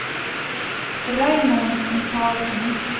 Raymond Mikalsen